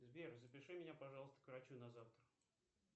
сбер запиши меня пожалуйста к врачу на завтра